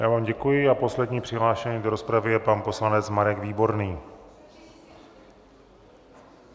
Já vám děkuji a posledním přihlášeným do rozpravy je pan poslanec Marek Výborný.